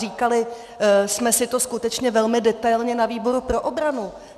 Říkali jsme si to skutečně velmi detailně na výboru pro obranu.